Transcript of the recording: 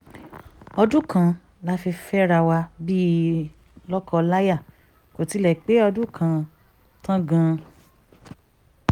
ọdún kan la fi fẹ́ra wa bíi lóko láyà kó tilẹ̀ pé ọdún kan tán gan